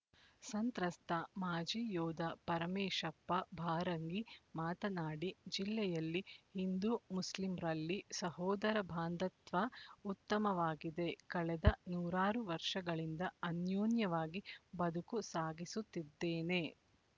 ಸಂತ್ರಸ್ತ ಮಾಜಿ ಯೋಧ ಪರಮೇಶಪ್ಪ ಬಾರಂಗಿ ಮಾತನಾಡಿ ಜಿಲ್ಲೆಯಲ್ಲಿ ಹಿಂದೂಮುಸ್ಲಿಂರಲ್ಲಿ ಸಹೋದರ ಭಾಂಧ್ಯತ್ವ ಉತ್ತಮವಾಗಿದೆ ಕಳೆದ ನೂರಾರು ವರ್ಷಗಳಿಂದ ಅನ್ಯೋನ್ಯವಾಗಿ ಬದುಕು ಸಾಗಿಸುತ್ತಿದ್ದೇನೆ